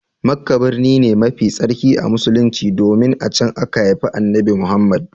Makka birni ne mafi tsarki a Musulunci domin a can aka haifi Annabi Muhammad.